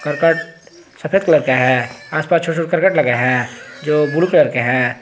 करकट सफेद कलर का है आसपास छोटा करकट लगा है जो ब्लू कलर का है।